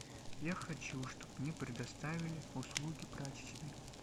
я хочу чтобы мне предоставили услуги прачечной